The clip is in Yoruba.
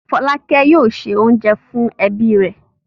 Fọ́lákẹ́ yóò se oúnjẹ fún ẹbí rẹ̀.